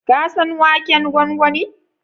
Ka san waken gwangwani?